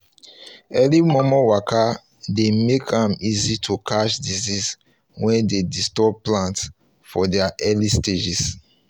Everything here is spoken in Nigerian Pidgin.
early momo waka dey make am easy to catch disease wey dey disturb plant for their early stages